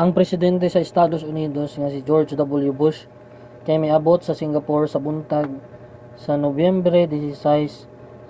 ang presidente sa estados unidos nga si george w. bush kay miabot sa singapore sa buntag sa nobyembre 16